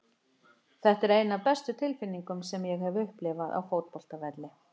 Þetta er ein af bestu tilfinningum sem ég hef upplifað á fótboltavelli.